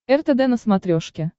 ртд на смотрешке